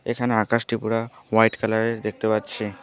এখানে আকাশটি পুরা হোয়াইট কালার -এর দেখতে পাচ্ছি।